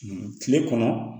Kile kɔnɔ